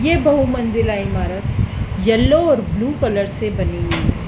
ये बहु मंजिला इमारत येलो और ब्लू कलर से बनी हुई है।